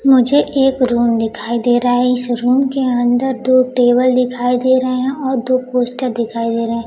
मुझे एक रूम दिखाई दे रा है इस रूम के अंदर दो टेबल दिखाई दे रे हैं और दो पोस्टर दिखाई दे रे हें।